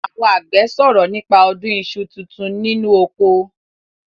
Àwon àgbẹ̀ sòrọ̀ nípa ọdún iṣu tuntun nínú oko.